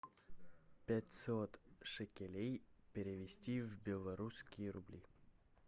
пятьсот шекелей перевести в белорусские рубли